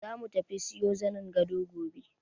Zamu tafi siyo zanin gado gobe.